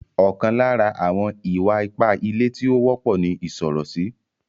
Ọkan lára àwọn ìwà-ipá ilé tí ó wọ́pọ̀ ní ìsọ̀rọ̀sí.